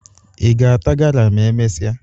Ị ga-ata gala ma e mesịa?